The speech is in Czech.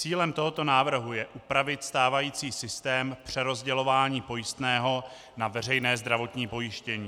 Cílem tohoto návrhu je upravit stávající systém přerozdělování pojistného na veřejné zdravotní pojištění.